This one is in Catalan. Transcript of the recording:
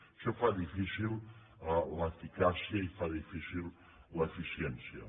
això fa difícil l’eficàcia i fa difícil l’eficiència